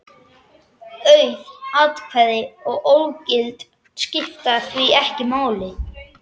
Auð atkvæði og ógild skipta því ekki máli.